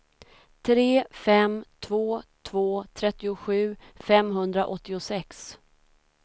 tre fem två två trettiosju femhundraåttiosex